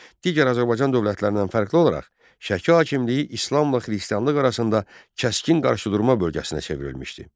Digər Azərbaycan dövlətlərindən fərqli olaraq, Şəki hakimliyi İslamla xristianlıq arasında kəskin qarşıdurma bölgəsinə çevrilmişdi.